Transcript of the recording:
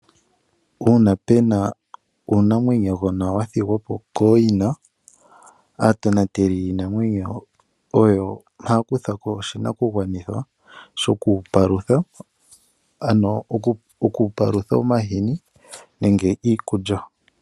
Uuna pu na uunamwenyogona wa thigwa po kooyina aatonateli yiinamwenyo oyo haya kutha ko oshinakugwanithwa shoku wu palutha, oku wu palutha omahini nenge iikulya.